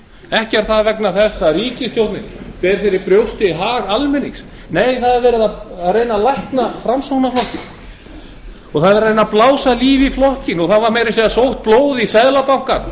ekki er það vegna þess að ríkisstjórnin beri hag almennings fyrir brjósti nei verið er að reyna að lækna framsóknarflokkinn það er verið að reyna að blása lífi í flokkinn það var meira að segja sótt blóð í seðlabankann